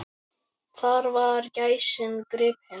Þar var gæsin gripin.